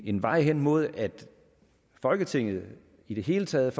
en vej hen imod at folketinget i det hele taget